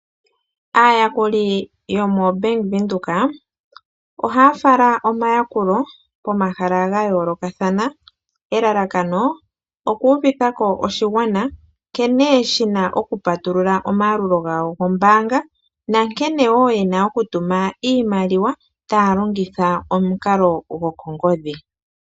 Aayakuli yomoBank Windhoek ohaya fala omayakulo pomahala ga yoolokathana elalakano okuuvitha ko oshigwana nkene shi na okupatulula omayalulo gawo gombaanga nankene wo ye na okutuma iimaliwa taya longitha omukalo gokongodhi.